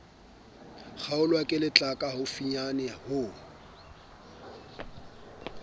kgaolwa ke letlaka haufinyane ho